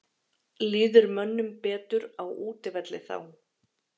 Líður mönnum betur á útivelli þá?